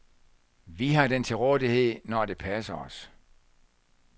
Vi har den til rådighed, når det passer os.